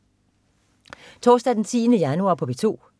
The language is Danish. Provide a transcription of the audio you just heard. Torsdag den 10. januar - P2: